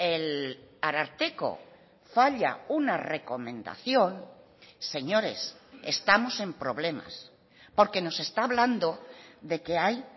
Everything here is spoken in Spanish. el ararteko falla una recomendación señores estamos en problemas porque nos está hablando de que hay